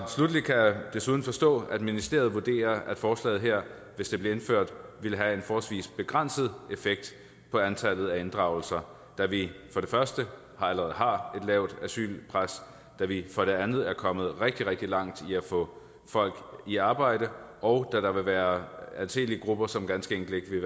sluttelig kan jeg desuden forstå at ministeriet vurderer at forslaget her hvis det blev indført ville have en forholdsvis begrænset effekt på antallet af inddragelser da vi for det første allerede har lavt asylpres og da vi for det andet er kommet rigtig rigtig langt i at få folk i arbejde og da der vil være anselige grupper som ganske enkelt ikke vil